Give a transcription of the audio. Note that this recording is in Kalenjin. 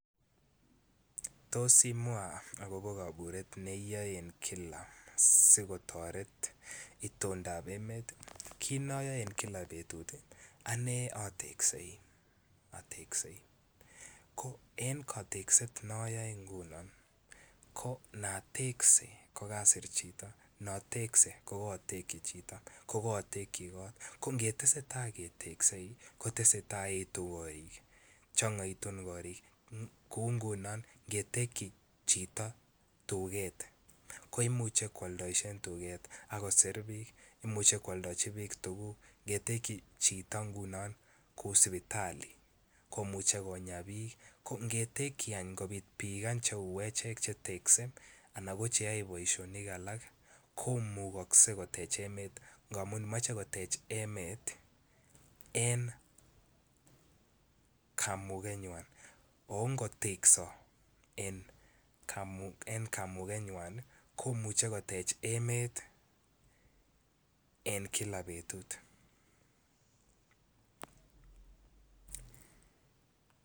Tos imwaa agobo kaburet ne iyaei en kila si kotoret itondab emet, kit noyoe en Kila betut anee oteksei. En koteset noyoe ngunon ko natekse kokasir chito natekse ko kotekyi chito kokotyi kot ko ngetese taa keteksei ko tesetai koetu korik chongoitu korik kouu ngunon ngetekyi chito tuget koimuche kwoldoishen tuget ak kosir biik imuche kwoldojin biik tuguk ngetekyi chito ngunon kouu sipitali komuche konyaa biik ko ngetekyi any kopit biik che uu echek che tekse anan ko che yoe boisionik alak komukokse kotech emet ngamun moche kotech emet en kamugenywan oo ngotekso en kamugenywan komuche kotej emet en Kila betut